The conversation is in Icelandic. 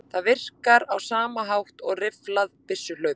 Það virkar á sama hátt og rifflað byssuhlaup.